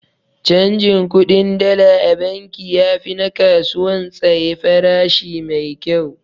Canjin kuɗin Dala a banki yafi na kasuwan tsaye farashi maikyau.